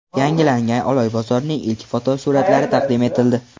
Yangilangan Oloy bozorining ilk fotosuratlari taqdim etildi.